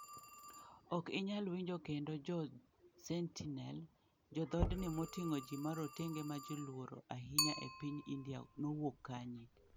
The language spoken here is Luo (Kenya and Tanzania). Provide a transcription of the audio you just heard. Ok inyal winjo kendo Jo Sentinel: Jo dhodni moting'o ji marotenge ma ji luoro ahinya e piny India nowuok kanye?